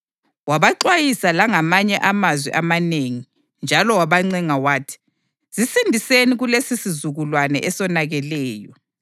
Wabaxwayisa langamanye amazwi amanengi; njalo wabancenga wathi, “Zisindiseni kulesisizukulwane esonakeleyo.”